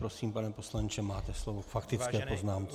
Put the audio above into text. Prosím, pane poslanče, máte slovo k faktické poznámce.